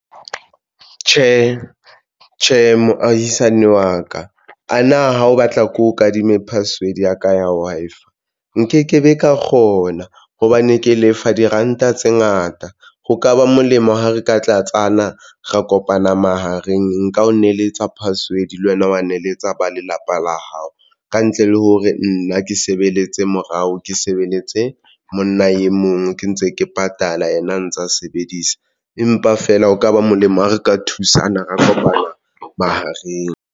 Tjhe, tjhe, moahisani wa ka a na ha o batla ko kadime password ya ka ya Wi-Fi nkekebe ka kgona hobane ke lefa diranta tse ngata. Ho ka ba molemo ha re ka tlasana ra kopana mahareng. Nka o neletsa password le wena wa neletsa ba lelapa la hao ka ntle le hore nna ke sebeletse morao, ke sebeletse monna e mong ke ntse ke patala yena a ntsa sebedisa, empa feela ho ka ba molemo ha re ka thusana, ra kopana mahareng.